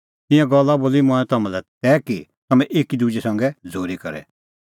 ईंयां गल्ला बोली मंऐं तम्हां लै तै कि तम्हैं एकी दुजै संघै झ़ूरी करे